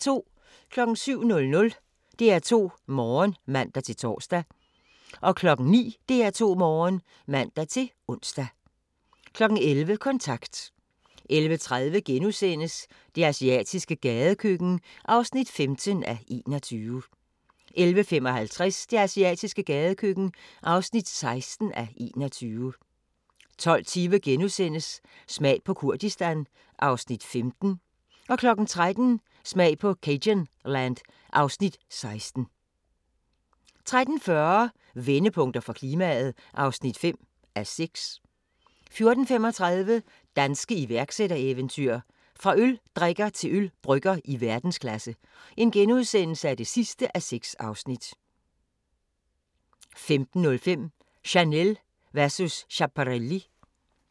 07:00: DR2 Morgen (man-tor) 09:00: DR2 Morgen (man-ons) 11:00: Kontant 11:30: Det asiatiske gadekøkken (15:21)* 11:55: Det asiatiske gadekøkken (16:21) 12:20: Smag på Kurdistan (Afs. 15)* 13:00: Smag på cajunland (Afs. 16) 13:40: Vendepunkter for klimaet (5:6) 14:35: Danske iværksættereventyr – fra øldrikker til ølbrygger i verdensklasse (6:6)* 15:05: Chanel versus Schiaparelli